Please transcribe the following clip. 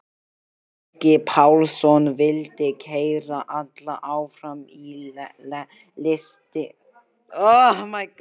Helgi Pálsson vildi keyra alla áfram í listinni.